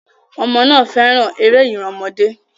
Ọmọ náà fẹ́ràn eré ìran ọmọdé.